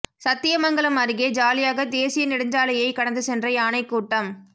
சத்தியமங்கலம் அருகே ஜாலியாக தேசிய நெடுஞ்சாலையை கடந்து சென்ற யானை கூட்டம்